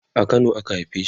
a Kano a ka haife shi